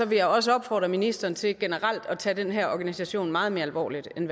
vil jeg også opfordre ministeren til generelt at tage den her organisation meget mere alvorligt end